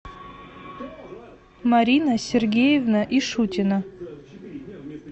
марина сергеевна ишутина